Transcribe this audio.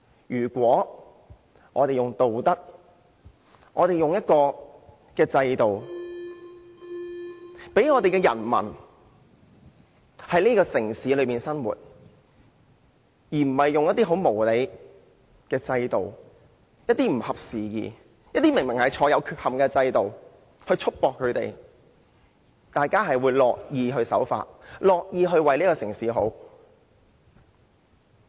如果我們是用道德和制度讓人民在城市中生活，而不是用很無理、不合時宜且顯然有缺憾的制度束縛他們，大家都會樂意守法，樂意為城市好。